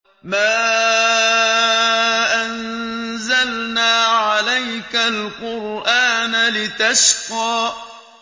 مَا أَنزَلْنَا عَلَيْكَ الْقُرْآنَ لِتَشْقَىٰ